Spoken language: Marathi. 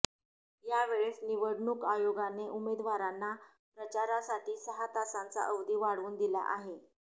यावेळेस निवडणूक आयोगाने उमेदवारांना प्रचारासाठी सहा तासांचा अवधी वाढवून दिला आहे